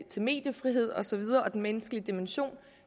mediefrihed og så videre og den menneskelige dimension